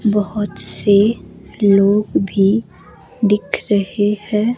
बहोत से लोग भी दिख रहे हैं।